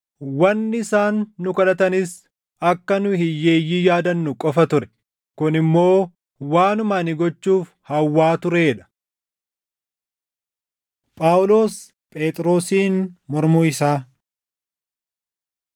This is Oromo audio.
Wanni isaan nu kadhatanis akka nu hiyyeeyyii yaadannu qofa ture; kun immoo waanuma ani gochuuf hawwaa turee dha. Phaawulos Phexrosiin Mormuu Isaa